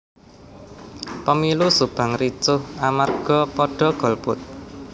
Pemilu Subang ricuh amarga podo golput